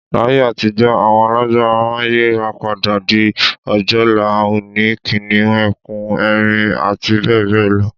Laye àtijó̩ àwo̩n alágbára máa ń yírapadà di ojòlá, ò̩ò̩nì, kìnìún, e̩kùn, erin, abbl.